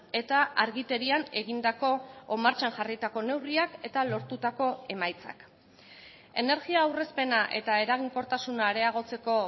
eta argiterian egindako edo martxan jarritako neurriak eta lortutako emaitzak energia aurrezpena eta eraginkortasuna areagotzeko